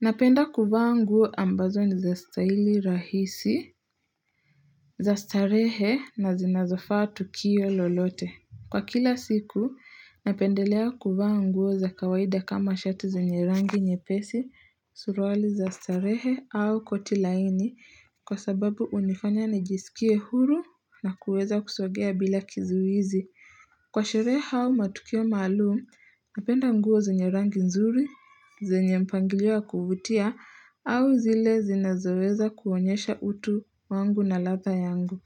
Napenda kuvaa nguo ambazo ni za staili rahisi za starehe na zinazofaa tukio lolote Kwa kila siku napendelea kuvaa nguo za kawaida kama shati zenye rangi nyepesi Surwali za starehe au koti laini kwa sababu hunifanya nijisikie huru na kuweza kusogea bila kizuizi Kwa sherehe au matukio maalum, napenda nguo zenye rangi nzuri, zenye mpangilio wa kuvutia, au zile zinazoweza kuonyesha utu wangu na latha yangu.